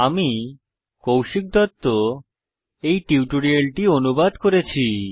আমি কৌশিক দত্ত এই টিউটোরিয়ালটি অনুবাদ করেছি